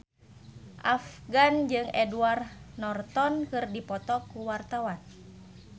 Afgan jeung Edward Norton keur dipoto ku wartawan